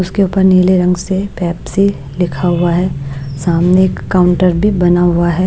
उसके ऊपर नीले रंग से पेप्सी लिखा हुआ है सामने एक काउंटर भी बना हुआ है।